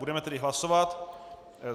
Budeme tedy hlasovat.